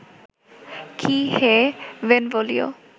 কী হে বেনভোলিও